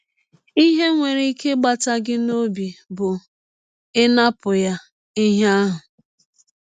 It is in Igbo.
Ihe nwere ike ịgbata gị n’ọbi bụ ịnapụ ya ihe ahụ.